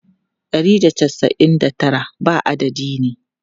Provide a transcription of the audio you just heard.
Ɗari da casa'in da tara ba adadi ne.